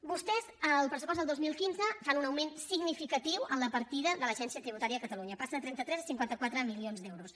vostès en el pressupost del dos mil quinze fan un augment significatiu a la partida de l’agència tributària de catalunya passa de trenta tres a cinquanta quatre milions d’euros